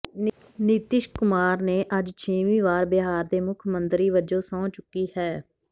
ਨਿਤੀਸ਼ ਕੁਮਾਰ ਨੇ ਅੱਜ ਛੇਵੀਂ ਵਾਰ ਬਿਹਾਰ ਦੇ ਮੁੱਖ ਮੰਤਰੀ ਵਜੋਂ ਸਹੁੰ ਚੁੱਕੀ ਹੈ